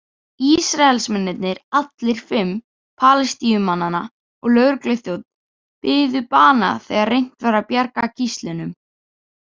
Ísraelsmennirnir allir, fimm Palestínumannanna og lögregluþjónn biðu bana þegar reynt var að bjarga gíslunum.